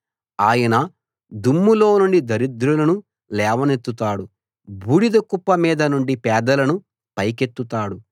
ఆయన దుమ్ములోనుండి దరిద్రులను లేవనెత్తుతాడు బూడిద కుప్ప మీద నుండి పేదలను పైకెత్తుతాడు